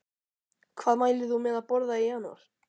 Hvað mælir þú með að borða í janúar?